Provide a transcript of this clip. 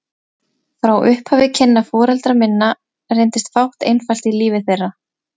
Frá upphafi kynna foreldra minna reyndist fátt einfalt í lífi þeirra.